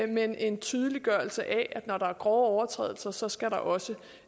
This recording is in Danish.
men en tydeliggørelse af at når der er grove overtrædelser så skal der også